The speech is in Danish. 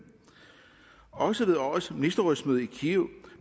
også ved årets ministerrådsmøde i kiev